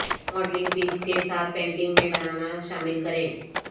modelling paste کے ساتھ paintings میں بنانا شامل کریں